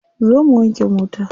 Zo mu wanke mota.